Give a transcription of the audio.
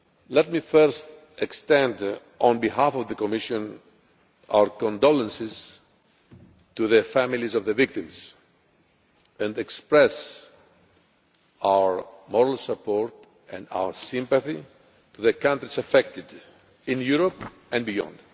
Let me first extend, on behalf of the Commission, our condolences to the families of the victims and express our moral support and our sympathy to the countries affected in Europe and beyond.